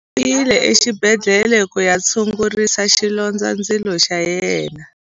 U yile exibedhlele ku ya tshungurisa xilondzandzilo xa yena.